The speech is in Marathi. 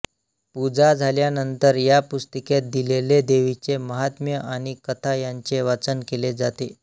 पूजा झाल्यानंतर या पुस्तिकेत दिलेले देवीचे महात्म्य आणि कथा यांचे वाचन केले जाते